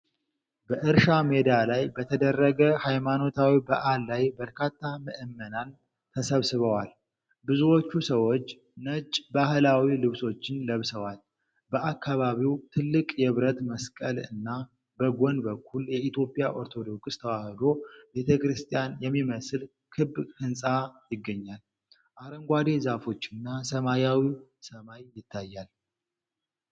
በእርሻ ሜዳ ላይ በተደረገ ሃይማኖታዊ በዓል ላይ በርካታ ምዕመናን ተሰብስበዋል። ብዙዎቹ ሰዎች ነጭ ባህላዊ ልብሶችን ለብሰዋል። በአካባቢው ትልቅ የብረት መስቀል እና በጎን በኩል የኢትዮጵያ ኦርቶዶክስ ተዋህዶ ቤተክርስቲያን የሚመስል ክብ ሕንፃ ይገኛል። አረንጓዴ ዛፎችና ሰማያዊ ሰማይ ይታያሉ።